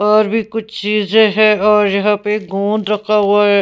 और भी कुछ चीजें है और यहां पे गोंद रखा हुआ है.